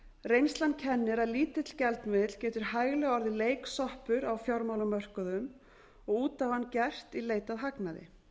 reynslan kennir að lítill gjaldmiðill getur hæglega orðið leiksoppur á fjármálamörkuðum og út á hann gert í leit að hagnaði